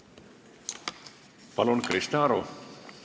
Palun, Krista Aru!